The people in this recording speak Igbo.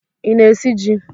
Ị na-esi ji?